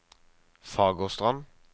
Fagerstrand